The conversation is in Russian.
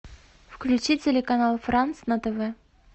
включи телеканал франц на тв